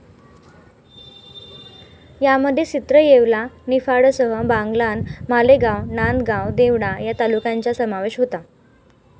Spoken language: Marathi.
यामध्ये सिन्नर, येवला, निफाडसह बागलाण, मालेगाव, नांदगाव, देवळा या तालुक्यांचा समावेश होता.